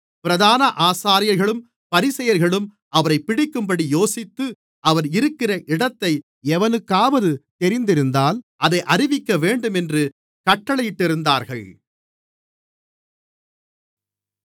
பிரதான ஆசாரியர்களும் பரிசேயர்களும் அவரைப் பிடிக்கும்படி யோசித்து அவர் இருக்கிற இடத்தை எவனுக்காவது தெரிந்திருந்தால் அதை அறிவிக்கவேண்டும் என்று கட்டளையிட்டிருந்தார்கள்